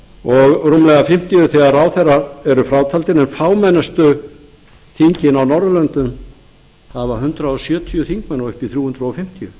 og rúmlega fimmtíu þegar ráðherrar eru frátaldir en fámennustu þingin á norðurlöndum hafa hundrað sjötíu þingmenn og upp í þrjú hundruð fimmtíu